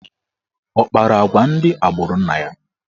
Ọ kpara agwa ndị agbụrụ nna ya?